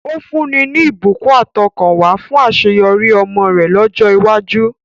Ó fúnni ní ìbùkún àtọkànwá fún àṣeyọrí ọmọ rẹ̀ lọ́jọ́ iwájú.